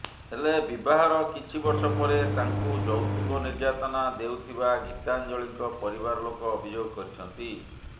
ହେଲେ ବିବାହର କିଛି ବର୍ଷ ପରେ ତାଙ୍କୁ ଯୌତୁକ ନିର୍ଯାତନା ଦେଉଥିବା ଗୀତାଞ୍ଜଳିଙ୍କ ପରିବାର ଲୋକ ଅଭିଯୋଗ କରିଛନ୍ତି